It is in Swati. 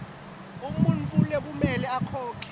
umuntfu lekumele akhokhe